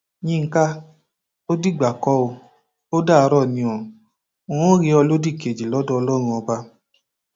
yinka ò dìgbà kó o dàárò ní n óò rí ọ lódì kejì lọdọ ọlọrun ọba